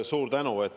Suur tänu!